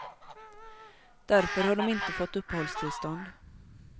Därför har de inte fått uppehållstillstånd.